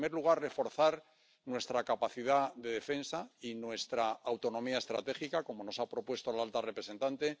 En primer lugar, reforzar nuestra capacidad de defensa y nuestra autonomía estratégica, como nos ha propuesto la alta representante